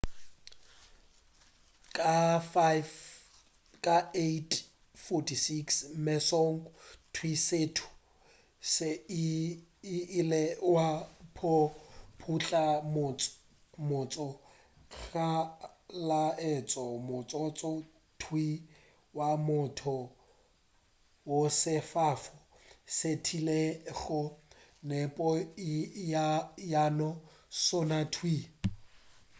ka 8:46 mesong thwii setu se ile sa wa go putla le motse go laetša motsotso thwii wa mathomo wo sefofane se bethilego nepo ya sona thwii